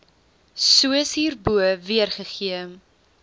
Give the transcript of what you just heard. soos hierbo weergegee